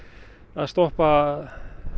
að stoppa